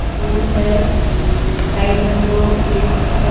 फूल है साइड में दो ब्रिज हैं.